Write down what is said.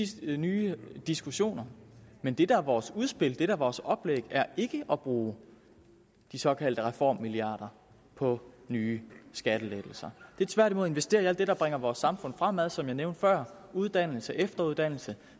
til nye diskussioner men det der er vores udspil det der er vores oplæg er ikke at bruge de såkaldte reformmilliarder på nye skattelettelser det er tværtimod at investere i alt det der bringer vores samfund fremad som jeg nævnte før uddannelse efteruddannelse